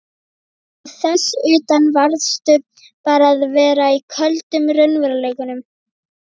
Og þess utan varðstu bara að vera í köldum raunveruleikanum.